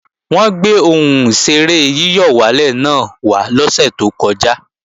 Wọ́n gbé ohùn ìṣeré yíyọ̀wálè náà wá lọ́sè tó kọjá